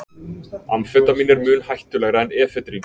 Amfetamín er mun hættulegra en efedrín.